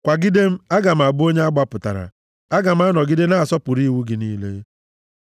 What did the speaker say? Kwagide m, aga m abụ onye a gbapụtara; aga m anọgide na-asọpụrụ iwu gị niile.